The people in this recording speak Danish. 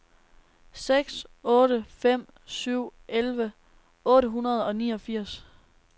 seks otte fem syv elleve otte hundrede og niogfirs